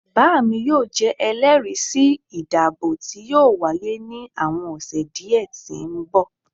baami yoo jẹ ẹlẹri si idabo ti yoo waye ni awọn ọsẹ diẹ ti nbọ